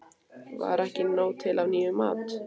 Var ekki nóg til af nýjum mat?